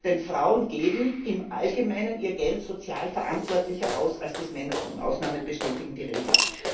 Denn Frauen geben im allgemeinen ihr Geld sozialverantwortlicher aus, als dies Männer tun Ausnahmen bestätigen die Regel.